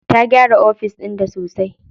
Ta gyara ofis ɗinta sosai.